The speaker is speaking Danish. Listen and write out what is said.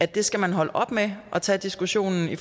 det skal man holde op med at tage diskussionen i